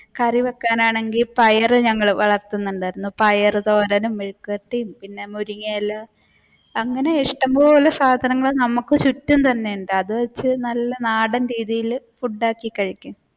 കറി വെക്കാനാണെങ്കി പയർ ഞങ്ങൾ വളർത്തുന്നുണ്ടായിരുന്നു പയർ തോരനും മെഴുക്ക് വരട്ടിയതും പിന്നെ മുരിങ്ങ ഇല അങ്ങനെ ഇഷ്ടംപോലെ സാധനങ്ങൾ നമുക്ക് ചുറ്റും തന്നെ ഉണ്ടായിരുന്നു. അത് വെച്ച് നല്ല നാടൻ രീതിയിൽ ഉണ്ടാക്കി കഴിക്കും